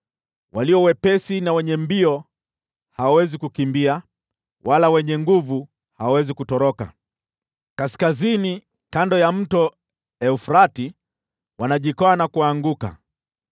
Walio wepesi na wenye mbio hawawezi kukimbia, wala wenye nguvu hawawezi kutoroka. Kaskazini, kando ya Mto Frati, wanajikwaa na kuanguka.